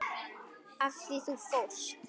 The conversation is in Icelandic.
Af því þú fórst.